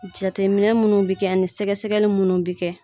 Jatetɛminɛ munnu bi kɛ ani sɛgɛsɛgɛli munnu bi kɛ